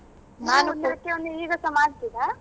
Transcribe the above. ನೃತ್ಯವನ್ನು ಈಗಸ ಮಾಡ್ತಿರಾ?